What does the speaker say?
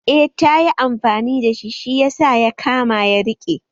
Eh tayi amfani da shi, shi yasa ya kama ya rike